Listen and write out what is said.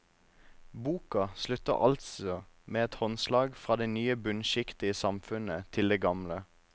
Boka slutter altså med et håndslag fra det nye bunnskiktet i samfunnet til det gamle.